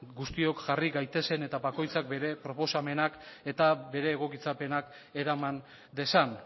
guztiok jarri gaitezen eta bakoitzak bere proposamenak eta bere egokitzapenak eraman dezan